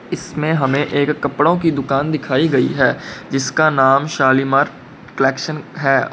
इसमें हमे एक कपड़ों की दुकान दिखाई गई है जिसका नाम शालीमार कलेक्शन है।